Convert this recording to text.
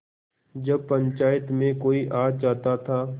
जब पंचायत में कोई आ जाता था